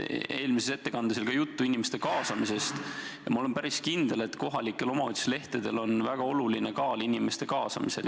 Eelmises ettekandes oli ka juttu inimeste kaasamisest ja ma olen päris kindel, et kohalike omavalitsuste lehtedel on väga oluline kaal inimeste kaasamisel.